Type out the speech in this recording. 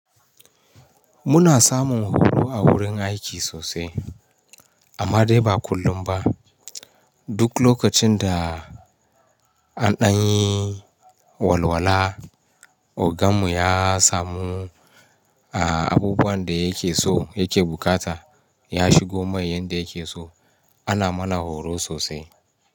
Muna samun horo a wurin aiki sosai amma dai ba kullum ba. Duk lokacin da an ɗanyi walwala oganmu ya samu, a, abubuwan da yake so yake bukata ya shigo mai yanda yake so ana mana horo sosai.